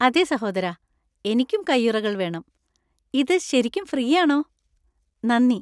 അതെ സഹോദരാ, എനിക്കും കയ്യുറകൾ വേണം. ഇത് ശരിക്കും ഫ്രീ ആണോ? നന്ദി!